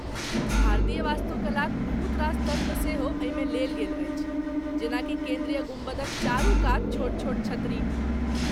भारतीय वास्तुकलाक बहुत रास तत्व सेहो एहिमे लेल गेल अछि, जेना कि केन्द्रीय गुम्बदक चारू कात छोट छोट छतरी।